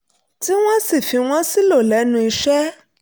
tí wọ́n sì fi wọ́n sílò lẹ́nu iṣẹ́